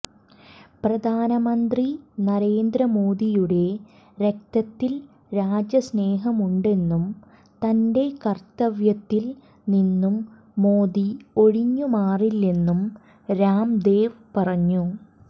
പ്രധാനമന്ത്രി നരേന്ദ്രമോദിയുടെ രക്തത്തിൽ രാജ്യസ്നേഹമുണ്ടെന്നും തന്റെ കർത്തവ്യത്തിൽ നിന്നും മോദി ഒഴിഞ്ഞുമാറില്ലെന്നും രാം ദേവ് പറഞ്ഞു